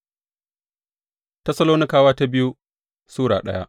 biyu Tessalonikawa Sura daya